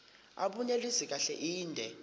abunelisi kahle inde